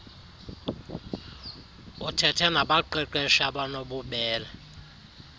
uthethe nabaqeqeshi abanobubele